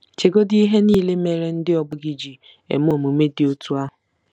Chegodị ihe niile mere ndị ọgbọ gị ji eme omume dị otú ahụ.